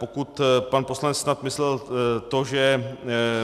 Pokud pan poslanec snad myslel to, že